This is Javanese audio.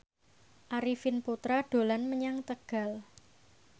Arifin Putra dolan menyang Tegal